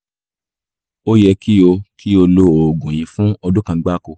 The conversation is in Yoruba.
ó yẹ kí o kí o lo oògùn yìí fún ọdún kan gbáko